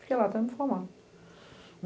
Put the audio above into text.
Fiquei lá até me formar.